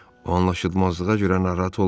O anlaşılmazlığa görə narahat olmayın.